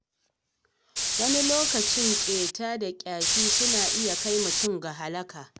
Wani lokaci ƙeta da ƙyashi suna iya kai mutum ga halaka.